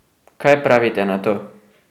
Kaj pravite na to?